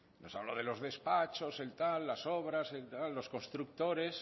nos habla de los despachos las obras los constructores